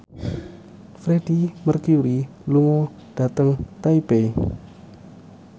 Freedie Mercury lunga dhateng Taipei